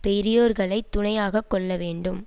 பெரியோர்களை துணையாக கொள்ள வேண்டும்